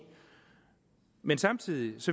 men samtidig